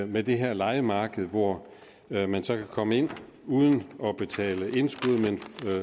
med det her lejemarked hvor man man kan komme ind uden at betale indskud